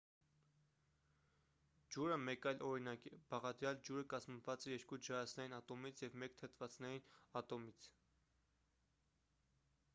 ջուրը մեկ այլ օրինակ է բաղադրյալ ջուրը կազմված է երկու ջրածնային ատոմից և մեկ թթվածնային ատոմից